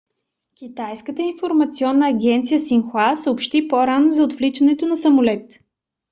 китайската информационна агенция синхуа съобщи по-рано за отвличането на самолет